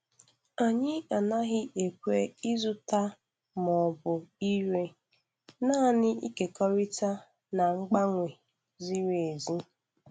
Anyị anaghị ekwe ịzụta ma ọ bụ ire, naanị ịkekọrịta na mgbanwe ziri ezi.